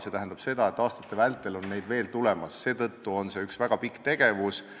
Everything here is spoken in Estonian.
See tähendab seda, et aastate vältel tuleb neid muudatusi veel – see on üks väga pikk tegevus.